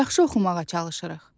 Yaxşı oxumağa çalışırıq.